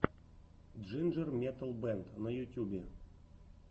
джинджер метал бэнд на ютюбе